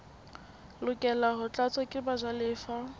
lokela ho tlatswa ke bajalefa